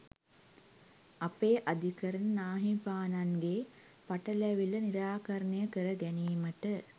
අපේ අධිකරණ නාහිමිපාණන්ගේ පටැලවිල්ල නිරාකරණය කර ගැනීමට